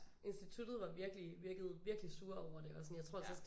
Instituttet var virkelig virkede virkelig sure over det og sådan jeg tror altså også